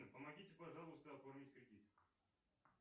помогите пожалуйста оформить кредит